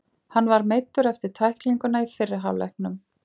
Hann var meiddur eftir tæklinguna í fyrri hálfleiknum.